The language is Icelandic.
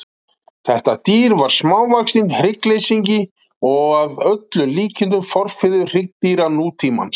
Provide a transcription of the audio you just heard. Þetta dýr var smávaxinn hryggleysingi og að öllum líkindum forfaðir hryggdýra nútímans.